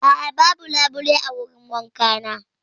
A'a, babu labule a wurin wankana.